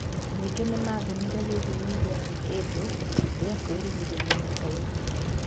Ningĩ nĩmathimire gĩthimi gĩa kĩndũ kĩa kwĩgirĩrĩria mata-inĩ.